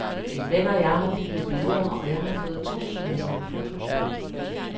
En ven og jeg har byttet billeder, og jeg har fået to, som jeg sender fotos af.